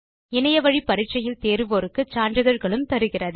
இணையத்தில் பரிட்சை எழுதி தேர்வோருக்கு சான்றிதழ்களும் தருகிறது